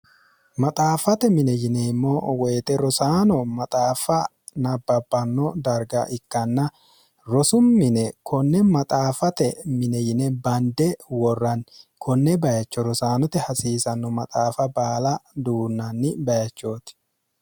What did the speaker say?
maxaaffate mine yineemmo woyixe rosaano maxaaffa nabbabbanno darga ikkanna rosu mine konne maxaafate mine yine bande worranni konne bayicho rosaanote hasiisanno maxaafa baala duunnanni bayichooti